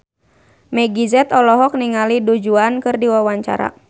Meggie Z olohok ningali Du Juan keur diwawancara